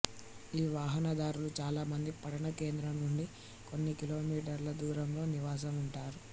ఈ వాహనదారులు చాలా మంది పట్టణ కేంద్రం నుండి కొన్ని కిలోమీటర్ల దూరంలో నివాసం ఉంటారు